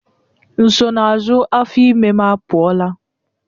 Nsonaazụ afọ ime m apụọla.